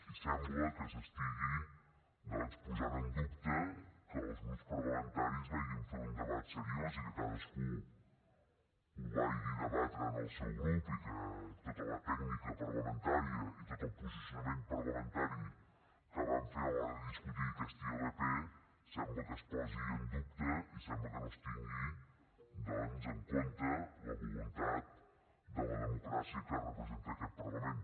i sembla que s’estigui posant en dubte que els grups parlamentaris vagin fer un debat seriós i que cadascú ho vagi debatre en el seu grup i que tota la tècnica parlamentària i tot el posicionament parlamentari que vam fer a l’hora de discutir aquesta ilp sembla que es posi en dubte i sembla que no es tingui doncs en compte la voluntat de la democràcia que representa aquest parlament